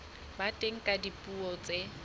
ba teng ka dipuo tse